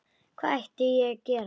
Hvað ætti ég að gera?